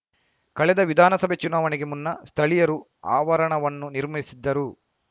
ಕಳೆದ ವಿಧಾನಸಭೆ ಚುನಾವಣೆಗೆ ಮುನ್ನ ಸ್ಥಳೀಯರು ಆವರಣವನ್ನು ನಿರ್ಮಿಸಿದ್ದರು